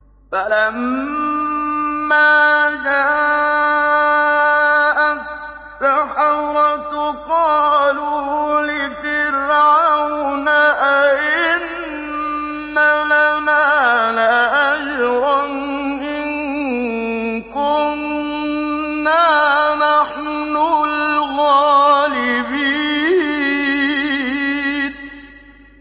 فَلَمَّا جَاءَ السَّحَرَةُ قَالُوا لِفِرْعَوْنَ أَئِنَّ لَنَا لَأَجْرًا إِن كُنَّا نَحْنُ الْغَالِبِينَ